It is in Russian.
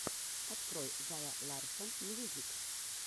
открой зара ларсон мьюзик